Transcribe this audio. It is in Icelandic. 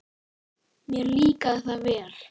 Mér líkaði það vel.